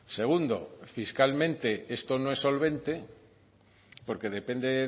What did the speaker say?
segundo fiscalmente esto no es solvente porque depende